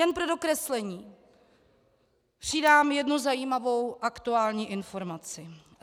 Jen pro dokreslení přidám jednu zajímavou aktuální informaci.